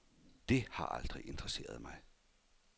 Det har aldrig interesseret mig.